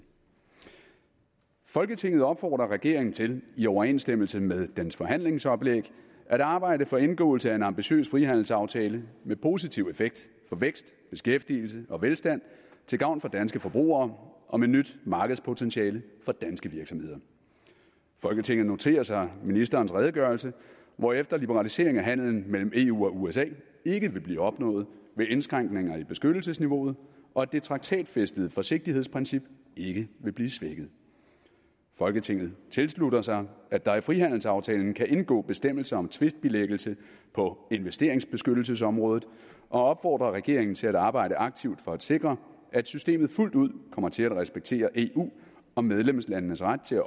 folketinget opfordrer regeringen til i overensstemmelse med dens forhandlingsoplæg at arbejde for indgåelse af en ambitiøs frihandelsaftale med positiv effekt for vækst beskæftigelse og velstand til gavn for danske forbrugere og med nyt markedspotentiale for danske virksomheder folketinget noterer sig ministerens redegørelse hvorefter liberalisering af handelen mellem eu og usa ikke vil blive opnået ved indskrænkninger i beskyttelsesniveauet og at det traktatfæstede forsigtighedsprincip ikke vil blive svækket folketinget tilslutter sig at der i frihandelsaftaler kan indgå bestemmelser om tvistbilæggelse på investeringsbeskyttelsesområdet og opfordrer regeringen til at arbejde aktivt for at sikre at systemet fuldt ud kommer til at respektere eu og medlemslandenes ret til